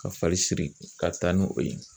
Ka fari siri ka taa ni o ye